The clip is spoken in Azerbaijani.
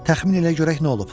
Təxmin elə görək nə olub.